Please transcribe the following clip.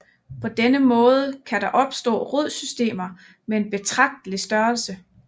På denne måde kan der opstå rodsystemer med en betragtelig størrelse